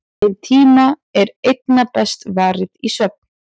Þeim tíma er einna best varið í svefn.